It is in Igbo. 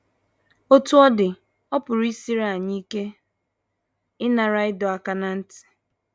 Otú ọ dị, ọ pụrụ isiri anyị ike ịnara ịdọ aka ná ntị.